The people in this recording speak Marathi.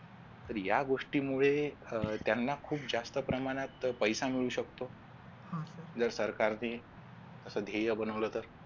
तर या गोष्टीमुळे अह त्यांना खूप जास्त प्रमाणात पैसा मिळू शकतो. जर सरकारने असे ध्येय बनवलं तर